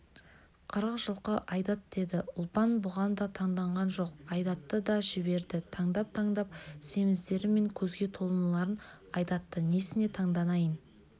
қырық жылқы айдат деді ұлпан бұған да таңданған жоқ айдатты да жіберді таңдап-таңдап семіздері мен көзге толымдыларын айдатты несіне таңданайын